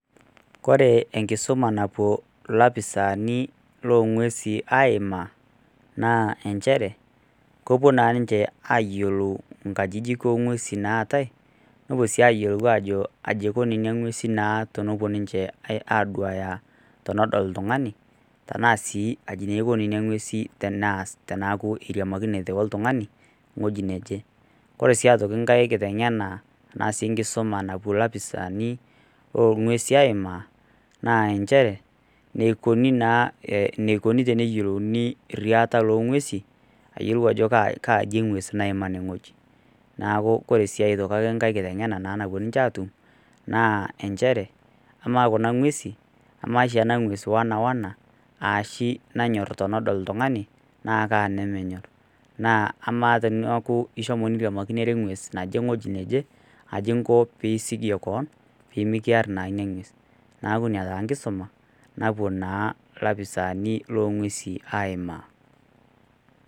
ore enkisuma napuo ilafisani loongwesi aiimaa naa inchere kepu naa ninche ayielou inkajijik oongwesin naatae neepu sii ayiolou ajo kai ekuo ingwesin naa tenepuo ninche aaduaya tenedol oltungani teena sii aji eko nena ngwesi teneas teneaku eiriamakinote oltungani eweji neje oree sii aitoki enkae kiteng`ena naa sii nkisumaa napuo lafisani loongwesi aima naa nchere neikuni naa neikuni teneyiolouni iriata loongwesi ayiolou ajo kaji eti engwes naima ene weji neeku ore siii aitoki nkae kitengena naa napuo ninche aatum naa nchere emaa kuna ngwesin amaa oshii ena ngwes wena wena aashi nenyor tenedol oltungani naa kaa nemenyorr naa emaa teneaku ishomo niriamakinore engwes naje eweji neje aja inko piisikie koon peemikirr naa ina ngwes neeku ina taa enkisuma napuo naa ilafisaani loongwesii aiimaa.